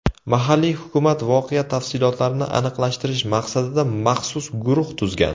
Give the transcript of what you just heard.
Mahalliy hukumat voqea tafsilotlarini aniqlashtirish maqsadida maxsus guruh tuzgan.